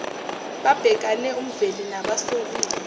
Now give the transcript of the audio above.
babhekane umveli nobasolile